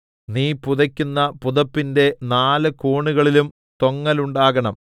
നീ പുതയ്ക്കുന്ന പുതപ്പിന്റെ നാല് കോണുകളിലും തൊങ്ങലുണ്ടാക്കണം